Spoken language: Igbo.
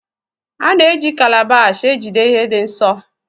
A na eji Kalabash ejide ihe dị nsọ.